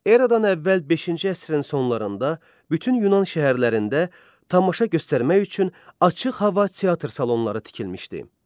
Eradan əvvəl beşinci əsrin sonlarında bütün Yunan şəhərlərində tamaşa göstərmək üçün açıq hava teatr salonları tikilmişdi.